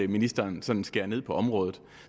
ministeren sådan skærer ned på området